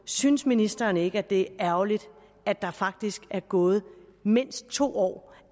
synes ministeren ikke det er ærgerligt at der faktisk er gået mindst to år